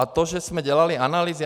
A to, že jsme dělali analýzy...